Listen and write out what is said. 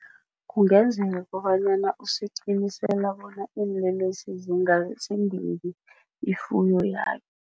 Kungenzeka kobanyana usiqinisela bona iinlelesi ifuyo yakhe.